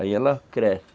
Aí ela cresce.